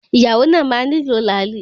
Ìyàwó náà máa nílò làálì.